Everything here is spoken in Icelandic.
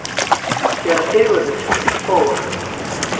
SÉRA SIGURÐUR: Fór?